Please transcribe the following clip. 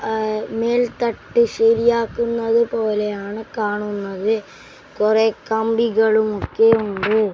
അഹ് മേൽത്തട്ടി ശരിയാക്കുന്നത് പോലെയാണ് കാണുന്നത് കുറേ കമ്പികളും ഒക്കെയുണ്ട്.